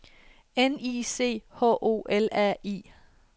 N I C H O L A I